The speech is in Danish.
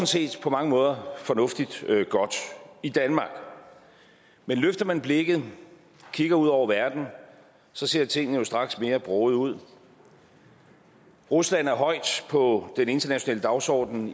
set på mange måder fornuftigt og godt i danmark men løfter man blikket og kigger ud over verden så ser tingene jo straks mere brogede ud rusland er højt på den internationale dagsorden